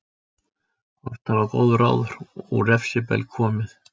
Oft hafa góð ráð úr refsbelg komið.